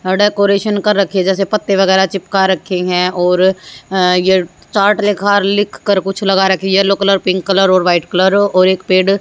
decoration कर रखी जैसे पत्ते वगैरा चिपका रखी हैं और ये चार्ट लिखा लिखकर कुछ लगा रखी येलो कलर पिंक कलर और वाइट कलर और एक पेड़--